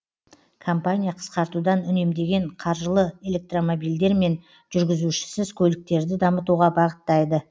компания қысқартудан үнемдеген қаржылы электромобильдер мен жүргізушісіз көліктерді дамытуға бағыттайды